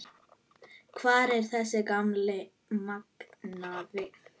Hvar er þessi gamli magnaði?